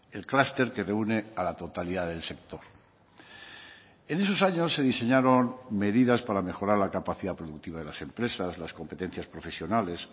el clúster que reúne a la totalidad del sector en esos años se diseñaron medidas para mejorar la capacidad productiva de las empresas las competencias profesionales